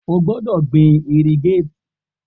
O gbọdọ gbin irrigate!